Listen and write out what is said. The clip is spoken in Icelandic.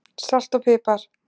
Salt og pipar